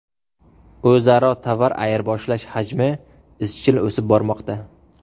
O‘zaro tovar ayirboshlash hajmi izchil o‘sib bormoqda.